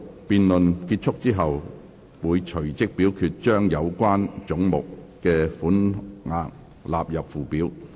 辯論結束後，會隨即表決將有關總目的款額納入附表。